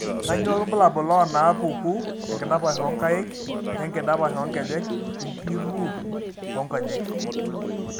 Kainyio irbulabul onaapuku enkidapash oonkaik enkidapash oonkejek enkiuriwur oonkonyek?